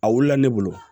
A wulila ne bolo